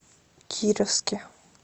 кировске